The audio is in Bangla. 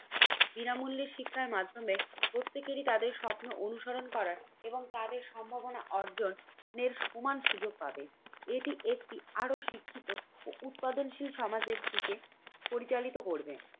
বিনামূল্যে শিক্ষার মাধ্যমে প্রত্যেকেরই তাদের স্বপ্ন অনুসরণ করার এবং তাদের সম্ভাবনা অর্জনের সমান সুযোগ পাবে। এটি একটি আরও শিক্ষিত ও উৎপাদনশীল সমাজের দিকে পরিচালিত করবে।